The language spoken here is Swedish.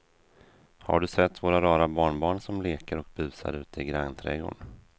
Har du sett våra rara barnbarn som leker och busar ute i grannträdgården!